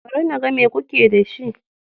Bari na ga mai kuke da shi.